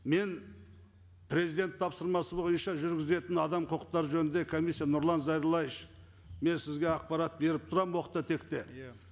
мен президент тапсырмасы бойынша жүргізетін адам құқықтары жөнінде комиссия нұрлан зайроллаевич мен сізге ақпарат беріп тұрамын оқта текте иә